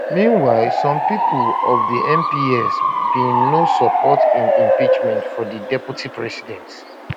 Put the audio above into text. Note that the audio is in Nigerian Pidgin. meanwhile some of di mps bin no support di impeachment of di deputy president